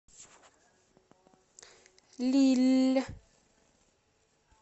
лилль